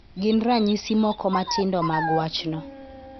Gin ranyisi moko matindo mag wachno.